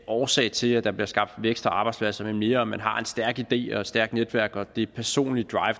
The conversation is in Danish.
årsag til at der bliver skabt vækst og arbejdspladser men mere at man har en stærk idé og et stærkt netværk og det personlige